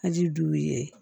A ji duuru ye